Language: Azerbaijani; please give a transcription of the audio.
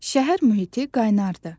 Şəhər mühiti qaynardır.